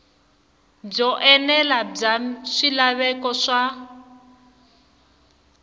byo enela bya swilaveko swa